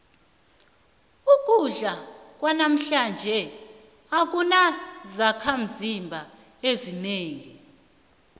ukudla kwanamhlanje akunazakhimzimba ezinengi